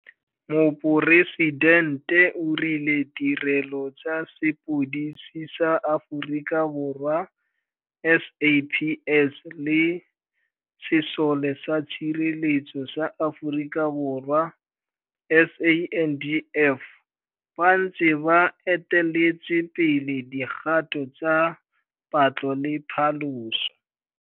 Moporesidente o rile Tirelo tsa Sepodisi sa Aforika Borwa, SAPS, le Sesole sa Tshireletso sa Aforika Borwa, SANDF, ba ntse ba eteletse pele dikgato tsa patlo le phaloso.